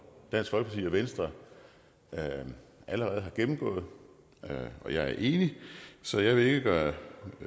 venstre allerede har gennemgået og jeg er enig så jeg vil ikke gøre